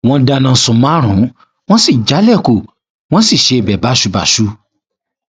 wọn dáná sun márùnún wọn sì jálẹkùn wọn sì ṣe ibẹ báṣubàṣu